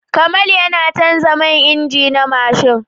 Kamal yana canza man injin na mashin.